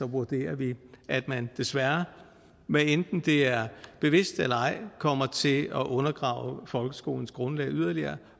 vurderer vi at man desværre hvad enten det er bevidst eller ej kommer til at undergrave folkeskolens grundlag yderligere